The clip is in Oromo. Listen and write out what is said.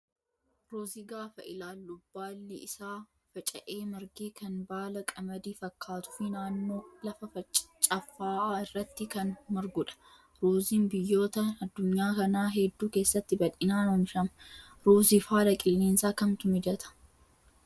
Ruuzii gaafa ilaallu baali isaa faca'ee marge kan baala qamadii fakkaatuu fi naannoo lafa caffaa'aa irratti kan margudha. Ruuziin biyyoota addunyaa kanaa hedduu keessatti bal'inaan oomishama. Ruuziif haala qilleensaa kamtu mijataa?